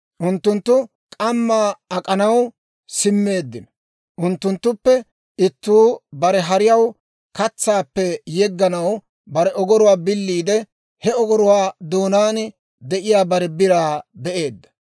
Unttunttu k'ammaa ak'anaw simmeeddino unttunttuppe ittuu bare hariyaw katsaappe yegganaw bare ogoruwaa biliide, he ogoruwaa doonaan de'iyaa bare biraa be'eedda.